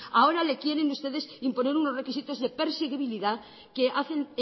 ahora le quieren ustedes imponer unos requisitos de perseguibilidad que hacen